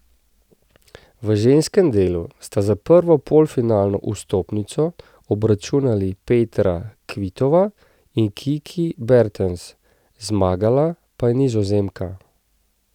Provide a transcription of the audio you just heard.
V ženskem delu sta za prvo polfinalno vstopnico obračunali Petra Kvitova in Kiki Bertens, zmagala pa je Nizozemka.